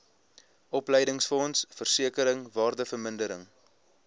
opleidingsfonds versekering waardevermindering